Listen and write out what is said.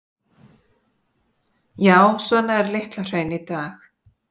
Já, svona er Litla-Hraun í dag.